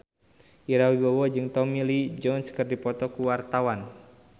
Ira Wibowo jeung Tommy Lee Jones keur dipoto ku wartawan